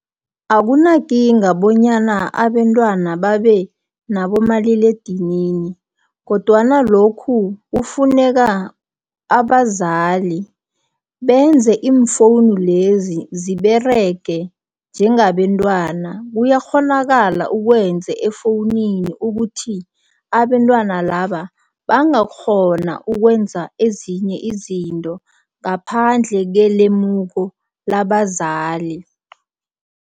Akunakinga bonyana abentwana babe nabomaliledinini, kodwana lokhu kufuneka abazali benze iimfowunu lezi, ziberege njengabentwana. Kuyakghonakala ukwenze efowunini ukuthi abentwana laba, bangakghona ukwenza ezinye izinto, ngaphandle kelemuko labazali.